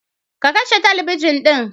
Ka kashe talabijin ɗin.